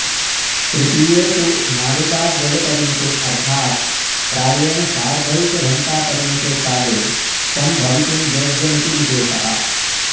तृतीये तु नाडिकाद्वयपरिमिते अर्थात् प्रायेण सार्धैकघण्टापरिमिते काले सम्भवितुं योग्यमिति विशेषः